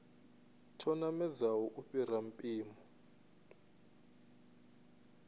tsho namedzaho u fhira mpimo